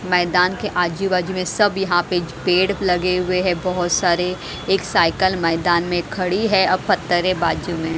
मैदान के आजू-बाजू में सब यहाँ पे पेड़ लगे हुए हैं बहुत सारे एक साइकिल मैदान में खड़ी है और पत्थरें बाजू में--